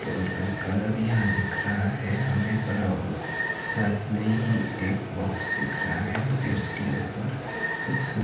door का colour यहां दिख रहा है हमें ब्राऊन साथ में ही एक बॉक्स दिख रहा है जिसके ऊपर कुछ स--